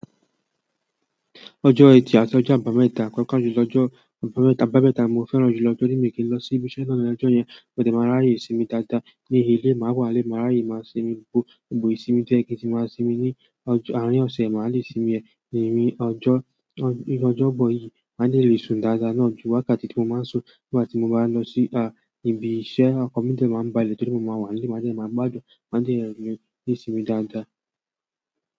Ọjọ́ ẹtì àti ọjọ́ àbámẹ́ta kọ́ọ̀kàn ju lọ́jọ́ àbámẹ́ta, àbámẹ́ta mo fẹ́ràn jù lọ. Torí mi n kì í lọ sí ibi iṣẹ́ náà ní ọjọ́ yẹn, mó de máa ráyè sinmi dáadáa ní ilé. Mà á wà n lé mi, máa ráyè màá sinmi, gbogbo ìsinmi to ye kì n ti màá sinmi ní ọjọ́ àárín ọ̀sẹ̀, màá le sinmi ẹ̀. Ẹni ọjọ́, ní ọjọ́bọ̀ yìí, màá de le sun dáadáa náà jù wákàtí tí mo máa ń sùn nígbà tí mo bá wa lo sí, ibi iṣẹ́. Ọkan mi de màá ń ba lè torí mo máa wà n lé, màá dẹ́ máa gbádùn, màá dẹ́ le ní ìsinmi dáadáa.